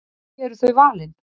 Því eru þau valin?